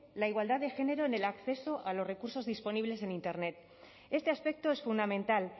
la igualdad de género en el acceso a los recursos disponibles en internet este aspecto es fundamental